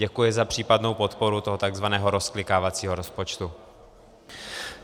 Děkuji za případnou podporu toho tzv. rozklikávacího rozpočtu.